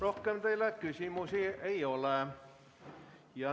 Rohkem teile küsimusi ei ole.